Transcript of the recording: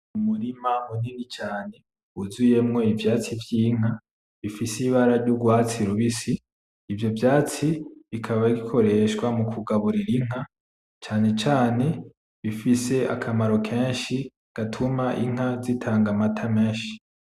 Umurima munini cane, wuzuyemwo ivyatsi vyinka, bifise ibara ryurwatsi rubisi. Ivyo vyatsi bikaba bikoreshwa mukugaburira inka, cane cane bifise akamaro kenshi gatuma inka zitanga amata menshi.